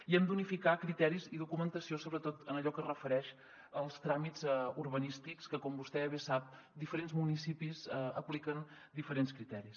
i hem d’unificar criteris i documentació sobretot en allò que es refereix als tràmits urbanístics que com vostè sap diferents municipis apliquen diferents criteris